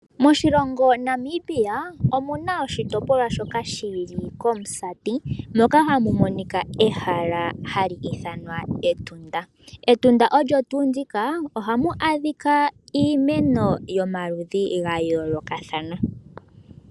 Moshilongo Namibia omuna oshitopolwa shoka shili kOmusati moka hamu monika ehala hali ithanwa Etunda. Etunda olyo tuu ndika ohamu adhika iimeno yomaludhi ga yoolokathana.